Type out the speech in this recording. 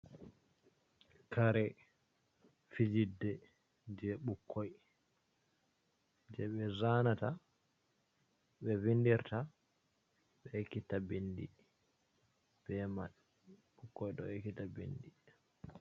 Kare fijirde, je ɓikkoi, je ɓe zanata, ɓe vindirta, ɓe ekita bindi be man, ɓukkoi ɗo ekita bindi.